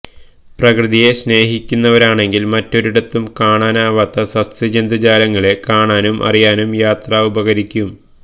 പ്രകൃതിയെ സ്നേഹിക്കുന്നവരാണെങ്കില് മറ്റൊരിടത്തും കാണാനാവാത്ത സസ്യജന്തുജാലങ്ങളെ കാണാനും അറിയാനും യാത്ര ഉപകരിക്കും